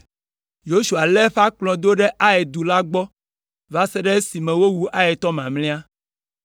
Yosua lé eƒe akplɔ do ɖe Ai du la gbɔ va se ɖe esime wowu Aitɔ mamlɛa.